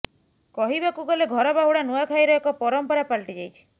କହିବାକୁ ଗଲେ ଘର ବାହୁଡ଼ା ନୂଆଁଖାଇର ଏକ ପରମ୍ପରା ପାଲଟି ଯାଇଛି